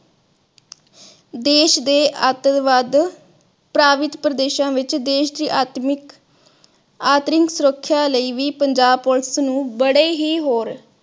ਦੇਸ ਦੇ ਆਤੰਕਵਾਦ ਪ੍ਰਭਾਵਿਤ ਪ੍ਰਦੇਸ਼ਾਂ ਵਿਚ ਦੇਸ਼ ਦੇ ਆਤਮਿਕ ਅਤਰਿੰਕ ਸੁਰੱਖਿਆ ਲਈ ਵੀ ਪੰਜਾਬ police ਨੂੰ ਬੜੇ ਹੀ ਹੋਰ